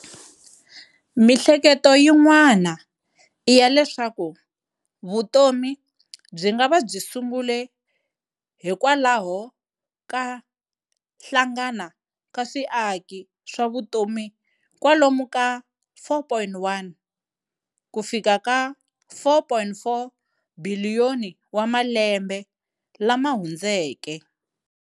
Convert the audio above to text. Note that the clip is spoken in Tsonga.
Mihleketo yin'wana iya leswaku vutomi byingava byi sungule hikwalaho ka hlangana ka swiaki swavutomi kwalomu ka 4.1-4.4 biliyoni wa malembe lamahundzeke.